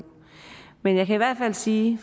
men jeg kan i hvert fald sige